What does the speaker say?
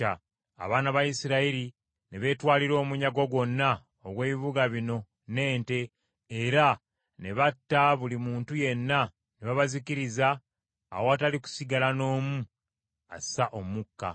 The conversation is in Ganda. Abaana ba Isirayiri ne beetwalira omunyago gwonna ogw’ebibuga bino n’ente, era ne batta buli muntu yenna ne babazikiriza awatali kusigala n’omu assa omukka.